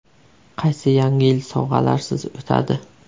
Qaysi Yangi yil sovg‘alarsiz o‘tadi?